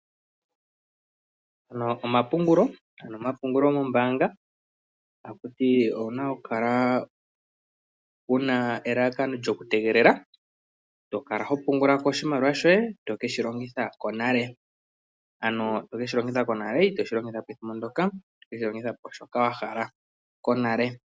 Omapungulo, ano omapungulo mombaanga ta kuti wuna okukala wuna elalakano lyokutegelela, tokala hopungula ko oshimaliwa shoye tokeshi longitha konale, ano tokeshi longitha konale itoshi longitha po ethimbo ndyoka tokeshi longitha po shoka wahala konale.